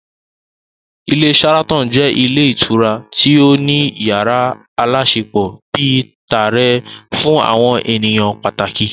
Ilé Sharaton jẹ́ ilé ìtura tí ó ní yàrá aláṣepọ̀ bíi tààrẹ fún àwọn ènìyàn pàtàkì